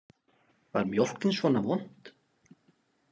Var mjólkin svona vond?